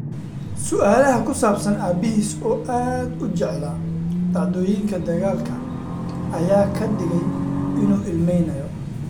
"Su’aalaha ku saabsan aabihiis, oo aad u jeclaa dhacdooyinka dagaalka, ayaa ka dhigay inuu ilmeynayo."